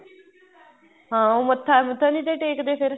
ਹਾਂ ਉਹ ਮੱਥਾ ਮੁੱਥਾ ਨਹੀਂ ਟੇਕਦੇ ਫ਼ੇਰ